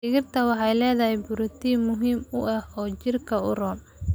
Digirta waxay leedahay borotiin muhiim ah oo jirka u roon.